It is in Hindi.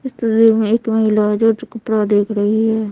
इस तस्वीर में एक महिला है जो चकपड़ा देख रही है।